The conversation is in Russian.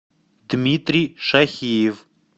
дмитрий шахиев